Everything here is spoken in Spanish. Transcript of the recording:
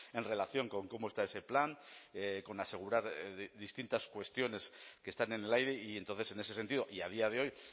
en relación con cómo está ese plan con asegurar distintas cuestiones que están en el aire y entonces en ese sentido y a día de hoy